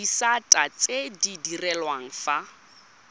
disata tse di direlwang fa